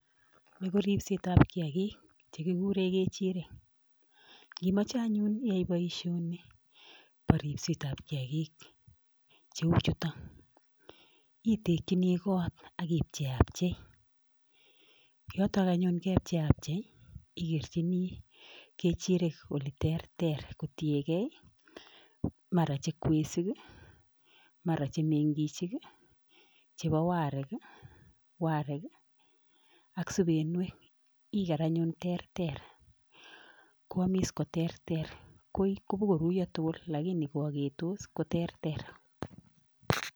Ni koripset ab kiyagik che kiguren kecherik. Ngimoche anyun iyae boisioni bo ripset ab kiyagik cheu chuton, itegini kot ak i pcheapchei, yoton anyun yekepcheapchei igerchini kechirek ole terter kotienge: mara che kwesik, mara che mengichik, chebo arek, ak subenwek. Iger anyun terter koamis koterter. Kobokoruiyo tugul lakini koagetos ko terter.